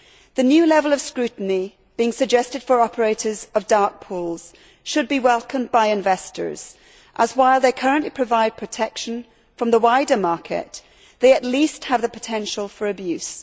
The new level of scrutiny being suggested for operators of dark pools should be welcomed by investors as, while they currently provide protection from the wider market, they at least have the potential for abuse.